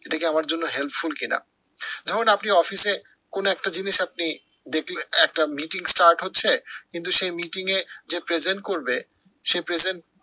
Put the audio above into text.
এটাকি আমার জন্য helpful কি না। যখন আপনি অফিসে কোনো একটা জিনিস আপনি দেখলেন, একটা meeting start হচ্ছে কিন্তু সেই meeting এ যে present করবে সে present